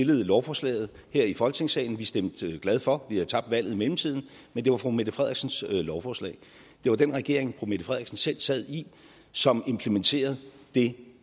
lovforslaget her i folketingssalen vi stemte med glæde for vi havde tabt valget i mellemtiden men det var fru mette frederiksens lovforslag det var den regering fru mette frederiksen selv sad i som implementerede det